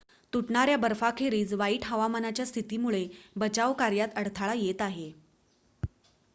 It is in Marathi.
तुटणाऱ्या बर्फाखेरीज वाईट हवामानाच्या स्थितीमुळे बचाव कार्यात अडथळा येत आहे